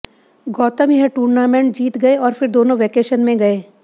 गौतम यह टूर्नामेंट जीत गए और फिर दोनों वैकेशन में गए